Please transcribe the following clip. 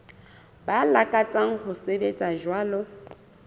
ba lakatsang ho sebetsa jwalo